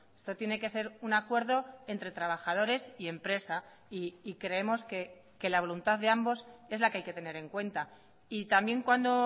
esto tiene que ser un acuerdo entre trabajadores y empresa y creemos que la voluntad de ambos es la que hay que tener en cuenta y también cuando